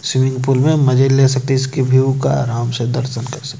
swimming pool में मजे ले सकते इसके व्यू का आराम से दर्शन कर सकते--